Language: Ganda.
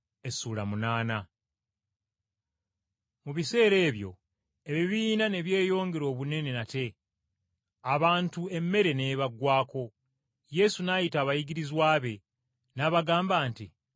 Mu biseera ebyo, ebibiina ne byeyongera obunene nate, abantu emmere n’ebaggwaako. Yesu n’ayita abayigirizwa be n’abagamba nti,